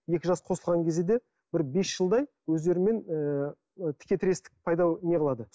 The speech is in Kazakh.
екі жас қосылған кезде де бір бес жылдай өздерімен ы текетірестік пайда ыыы не қылады